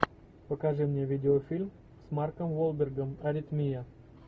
покажи мне видеофильм с марком уолбергом аритмия